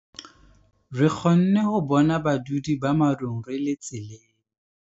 Re kgonne ho bona badudi ba morung re le tseleng.